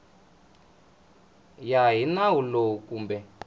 ya hi nawu lowu kumbe